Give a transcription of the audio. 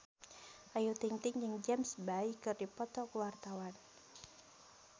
Ayu Ting-ting jeung James Bay keur dipoto ku wartawan